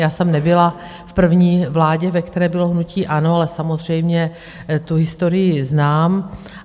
Já jsem nebyla v první vládě, ve které bylo hnutí ANO, ale samozřejmě tu historii znám.